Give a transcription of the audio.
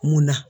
Mun na